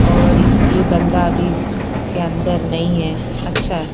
और ये बंदा अभी इसके अंदर नहीं है अच्छा है।